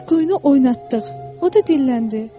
Biz quyunu oynatdıq, o da dilləndi.